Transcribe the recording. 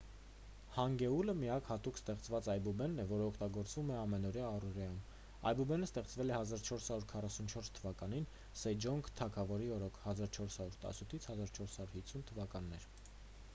հանգեուլը միակ հատուկ ստեղծված այբուբենն է որն օգտագործվում է ամենօրյա առօրյայում։ այբուբենը ստեղծվել է 1444 թվականին սեջոնգ թագավորի օրոք 1418 - 1450 թվականներ։